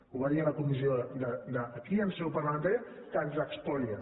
ho va dir a la comissió aquí en seu parlamentària que ens espolia